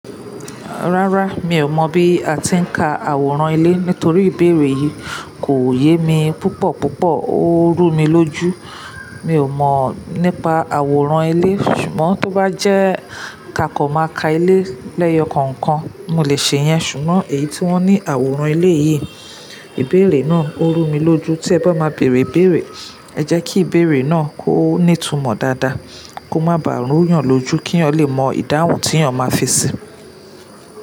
Rárá, mi ò mọ̀ bí a ti ń ka àwòrán ilé nítorí ìbéèrè yìí kò yé mi púpọ̀púpọ̀, ó rú mi lójú. Mi ò mọ̀ nípa àwòrán ilé, ṣùgbọ́n tó bá jẹ́ ká kọ̀ máa ka ilé lẹ́yọ kankan, mo lè ṣe yẹn. Ṣùgbọ́n èyí tí wón ní àwòrán ilé yìí, ìbéèrè náà ó rú mi lójú. Tí ẹ bá máa bèèrè ìbéèrè, ẹ jẹ́ kí ìbéèrè náà kó nítúmọ̀ dáadáa, kó má ba à rún yàn lójú kí èèyàn lè mọ ìdáhùn tí èèyàn máa fi ṣi.